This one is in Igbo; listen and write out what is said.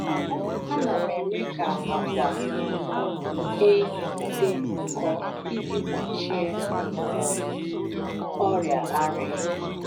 Ana m eme ka akwa um ehi dị nkọ iji gbochie ọrịa ara ehi.